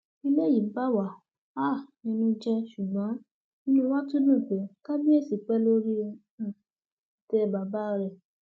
eléyìí bà wá um nínú jẹ ṣùgbọn inú wa tún dùn pé kábíyèsí pé lórí um ìtẹ àwọn bàbá rẹ